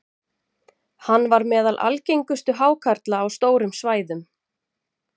hann var meðal algengustu hákarla á stórum svæðum